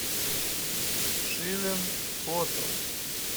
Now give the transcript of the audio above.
шилин хото